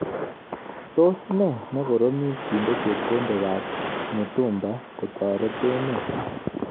Tos ne koromet kinde chepkondok ab mutumba kotoret emet.